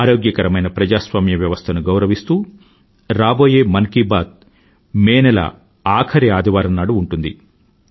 ఆరోగ్యకరమైన ప్రజాస్వామ్య వ్యవస్థను గౌరవిస్తూ రాబోయే మన్ కీ బాత్ మే నెల ఆఖరి ఆదివారం నాడు ఉంటుంది